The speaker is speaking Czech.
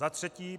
Za třetí.